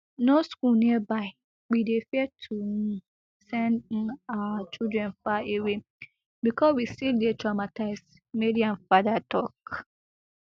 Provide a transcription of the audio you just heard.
no school nearby and we dey fear to um send um our children far away becos we still dey traumatised mariam father tok